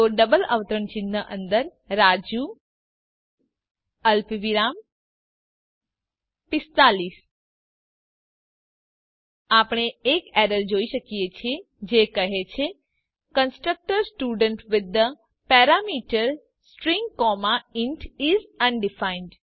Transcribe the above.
તો ડબલ અવતરણ ચિહ્ન અંદર રાજુ અલ્પવિરામ45 આપણે એક એરર જોઈએ છીએ જે કહે છે constructor student with the parameter string comma int is undefined